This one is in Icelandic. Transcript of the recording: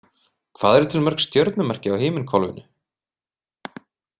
Hvað eru til mörg stjörnumerki á himinhvolfinu?